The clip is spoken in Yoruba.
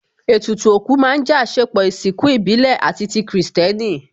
Ètùtù òkú má ń jẹ́ àsèpọ̀ ìsìnkú ìbílẹ̀ àti ti kìrìsìtẹ́nì